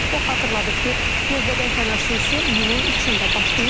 O xatırladıb ki, növbədənkənar sessiya iyunun 3-də başlayıb.